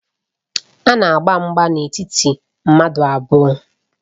A na-agba mgba n'etiti mmadụ abụọ